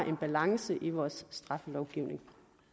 en balance i vores straffelovgivning